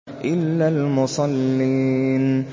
إِلَّا الْمُصَلِّينَ